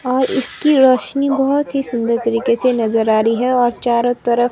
और इसकी रोशनी बहुत ही सुंदर तरीके से नजर आ रही है और चारों तरफ--